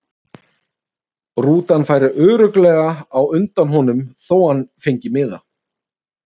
Rútan færi örugglega á undan honum þó að hann fengi miða.